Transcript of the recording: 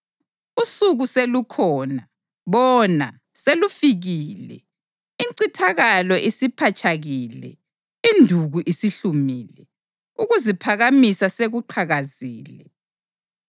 Usuku selukhona! Bona, selufikile! Incithakalo isipatshakile, induku isihlumile, ukuziphakamisa sekuqhakazile.